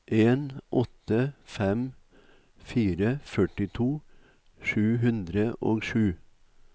en åtte fem fire førtito sju hundre og sju